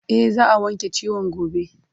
E, za a wanke ciwon gobe.